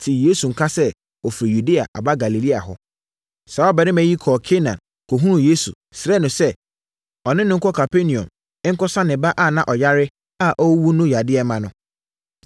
tee Yesu nka sɛ ɔfiri Yudea aba Galilea hɔ. Saa ɔbarima yi kɔɔ Kana kɔhunuu Yesu, srɛɛ no sɛ, ɔne no nkɔ Kapernaum nkɔsa ne ba a na ɔyare a ɔreyɛ awu no yadeɛ mma no.